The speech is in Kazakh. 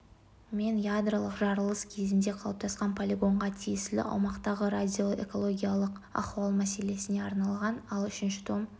мен ядролық жарылыс кезінде қалыптасқан полигонға тиесілі аумақтағы радиоэкологиялық ахуал мәселелеріне арналған ал үшінші том